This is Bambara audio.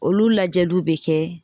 Olu lajɛliw bɛ kɛ